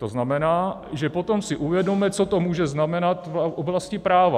To znamená, že potom si uvědomme, co to může znamenat v oblasti práva.